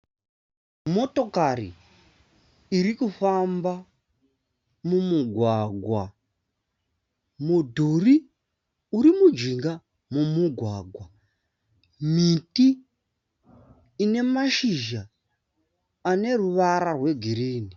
Motokari irikufamba mumugwagwa. Mudhuri uri mujinga memugwagwa. Miti inemashizha aneruvara rwe girinhi.